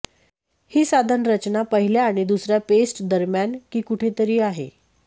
हे साधन रचना पहिल्या आणि दुसर्या पेस्ट दरम्यान की कुठेतरी आहे